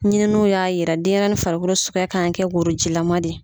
Ɲininiw y'a yira denyɛrɛnin farikolo sukuya kan ka kɛ worojilaman de ye.